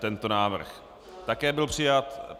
Tento návrh také byl přijat.